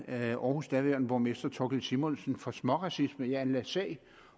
af aarhus’ daværende borgmester thorkild simonsen for småracisme og jeg anlagde sag